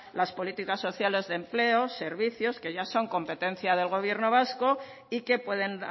las políticas sociales de empleo servicios que ya son competencias del gobierno vasco y que pueden